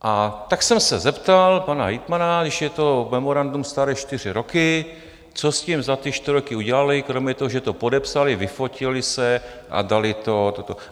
A tak jsem se zeptal pana hejtmana, když je to memorandum staré čtyři roky, co s tím za ty čtyři roky udělali kromě toho, že to podepsali, vyfotili se a dali toto.